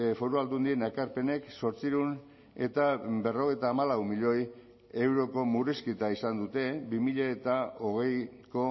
foru aldundien ekarpenek zortziehun eta berrogeita hamalau milioi euroko murrizketa izan dute bi mila hogeiko